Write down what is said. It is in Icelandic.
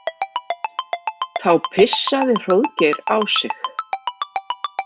Þá pissaði Hróðgeir á sig.